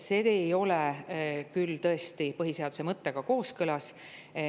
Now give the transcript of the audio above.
See ei ole küll tõesti põhiseaduse mõttega kooskõlas.